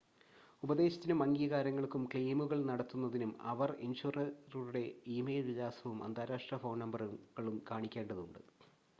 ഉപദേശത്തിനും/അംഗീകാരങ്ങൾക്കും ക്ലെയിമുകൾ നടത്തുന്നതിനും അവർ ഇൻഷുററുടെ ഇ-മെയിൽ വിലാസവും അന്താരാഷ്‌ട്ര ഫോൺ നമ്പറുകളും കാണിക്കേണ്ടതുണ്ട്